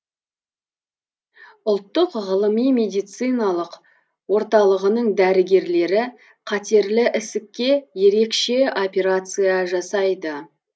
ұлттық ғылыми медициналық орталығының дәрігерлері қатерлі ісікке ерекше операция жасайды